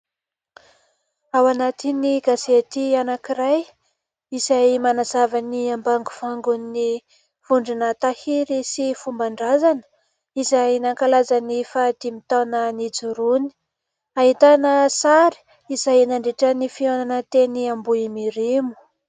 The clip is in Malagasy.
Ao anatin'ny gazety anankiray, izay manazava ny ambangovangon'ny vondrona tahiry sy fomban-drazana izay nankalaza ny faha dimy taona nijoroany. Ahitana sary izay nandritra ny fiahonana teny Ambohimirimo.